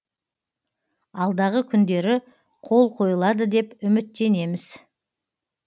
алдағы күндері қол қойылады деп үміттенеміз